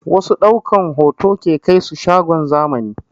Wasu ɗaukan hoto ke kaisu shagon zamani